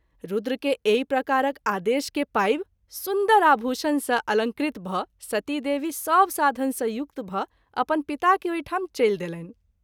रूद्र के एहि प्रकारक आदेश के पाबि सुन्दर आभूषण सँ अलंकृत भ’ सती देवी सभ साधन सँ युक्त भ’अपन पिता के ओहिठाम चलि देलनि।